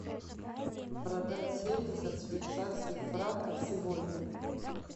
продать семьдесят швейцарских франков сегодня